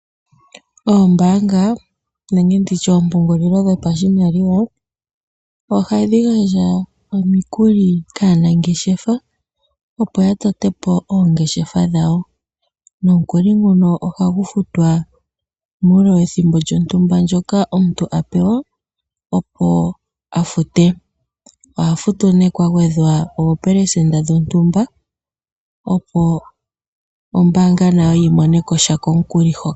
Oombaanga nenge ndi tye oompungulilo dhopashimaliwa ohadhi gandja omikuli kaanangeshefa, opo ya tote po oongeshefa dhawo. Nomukuli nguno ohagu futwa muule wethimbo lyontumba ndyoka omuntu a pewa, opo a fute. Oha futu nee kwa gwedhwa oopelesenda dhontumba, opo ombaanga nayo yi mone ko sha komukuli ho.